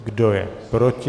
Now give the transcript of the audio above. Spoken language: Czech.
Kdo je proti?